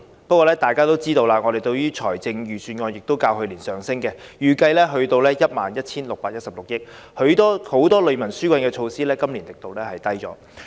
然而，大家也知道，我們的財政儲備其實較去年有所增加，預計會達到 11,616 億元，但今年很多利民紓困措施的力度也減少了。